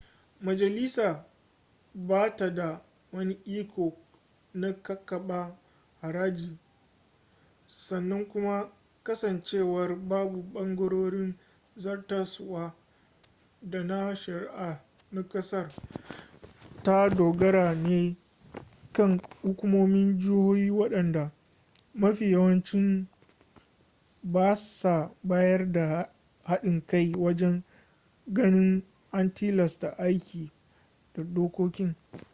majalisa ba ta da wani iko na kakaba haraji sannan kuma kasancewar babu ɓangarorin zartaswa da na shari'a na ƙasar ta dogara ne kan hukumomin jihohi waɗanda mafi yawanci ba sa bayar da haɗin kai wajen ganin an tilasta aiki da dokokin